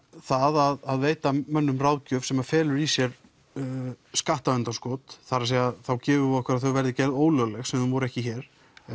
það að veita mönnum ráðgjöf sem felur í sér skattaundanskot það er að þá gefum við okkur að þau verði gerð ólögleg sem var ekki hér